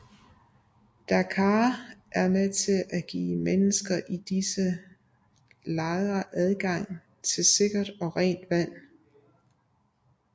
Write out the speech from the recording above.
DACAAR er med til at give mennesker i disse lejre adgang til sikkert og rent vand